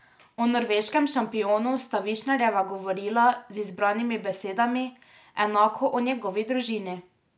O norveškem šampionu sta Višnarjeva govorila z izbranimi besedami, enako o njegovi družini.